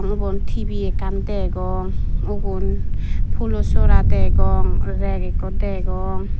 ubon T_V ekkan degong ubon pulo sora degong reg ekko degong.